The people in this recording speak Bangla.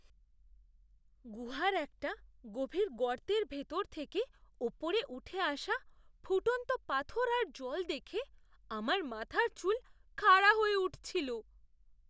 গুহার একটা গভীর গর্তের ভেতর থেকে ওপরে উঠে আসা ফুটন্ত পাথর আর জল দেখে আমার মাথার চুল খাড়া হয়ে উঠছিল।